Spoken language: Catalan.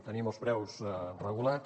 tenim els preus regulats